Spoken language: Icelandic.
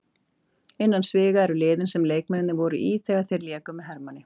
Innan sviga eru liðin sem leikmennirnir voru í þegar þeir léku með Hermanni.